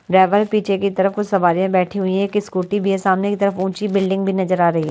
driver पीछे की तरफ कुछ सवारियां बैठी हुई हैं एक स्कूटी भी है सामने की तरफ ऊंची बिल्डिंग भी नजर आ रही--